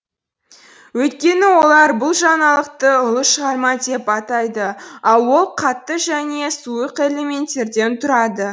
өйткені олар бұл жаңалықты ұлы шығарма деп атайды ал ол қатты және сұйық элементтен тұрады